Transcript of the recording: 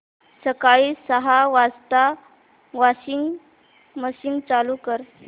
सकाळी सहा वाजता वॉशिंग मशीन चालू कर